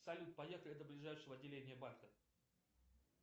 салют поехали до ближайшего отделения банка